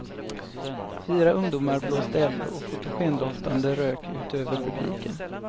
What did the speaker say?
Fyra ungdomar blåste eld och fotogendoftande rök ut över publiken.